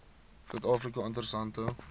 suid afrika interessante